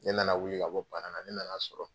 Ne nana wuli ka bɔ ban na, ne nana sɔrɔ